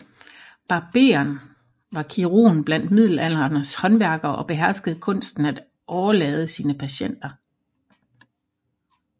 Barberen var kirurgen blandt middelalderens håndværkere og beherskede kunsten at årelade sine patienter